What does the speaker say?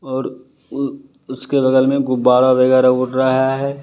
और उ उसके बगल में गुब्बारा वगैरा उड़ रहा है।